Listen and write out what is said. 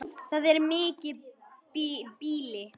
Það er mikið býli.